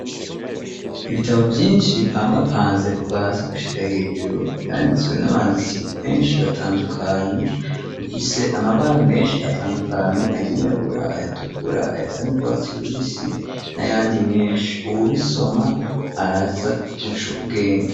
Ibitabo vyishi bipangapanze kuva hasi gushika hejuru vyanditswe n'abanditsi beshi batandukanye rufise amabara meshi atandukanye ayirabura ayatukura ayasa n'urwasi rubisi n'ayandi meshi ubu bisoma araza gucubwenge.